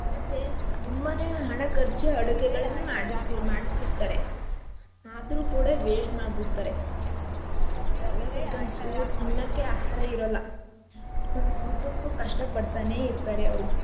ಮತ್ತೆ ತಂಬನೆ ಹಣ ಖರ್ಚ್ ಆಡುಗೆಗಳನ್ನ ಮಾಡ್ಸಿ~ ಮಾಡಸಿರ್ತಾರೆ ಆದ್ರೂ ಕೂಡ waste ಮಾಡ್ಬಿಡ್ತಾರೆ ಕೆಲವ್ರಿಗಂತು ತಿನ್ನಕ್ಕೆ ಆಹಾರ ಇರೋಲ್ಲ ಒಂದ್ ಊಟಕ್ಕು ಕಷ್ಟ ಪಡ್ತಾನೇ ಇರ್ತಾರೆ ಅವ್ರು.